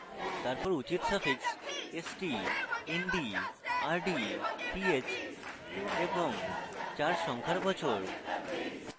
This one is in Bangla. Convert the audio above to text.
তারপর উচিত suffixst nd rd th এবং চার সংখ্যার বছর